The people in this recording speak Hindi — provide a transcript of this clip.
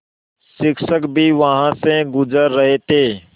शिक्षक भी वहाँ से गुज़र रहे थे